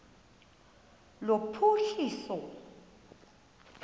lophuhliso